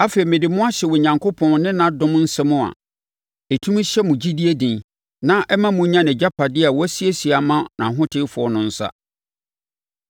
“Afei, mede mo hyɛ Onyankopɔn ne ne dom nsɛm a ɛtumi hyɛ mo gyidie den na ɛma monya nʼagyapadeɛ a wasiesie ama ahotefoɔ no nsa.